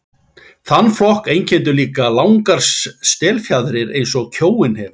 Þann flokk einkenndu líka langar stélfjaðrir eins og kjóinn hefur.